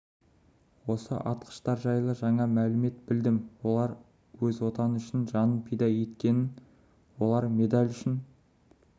осы атқыштар жайлы жаңа мәлімет білдім олар өз отаны үшін жанын пида еткенін олар медаль үшін